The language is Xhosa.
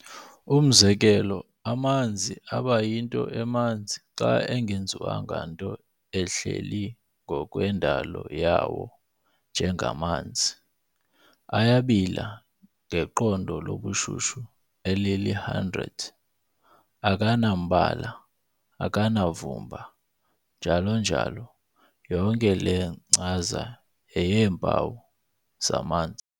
Umzekelo, amanzi abayinto emanzi xa engenziwanga nto ehleli ngokwendalo yawo njengamanzi, "ayabila ngeqondo lobushushu elili-100, " akanambala", akanavumba, "njalo njalo". yonke le nkcaza yeyeempawu zamanzi.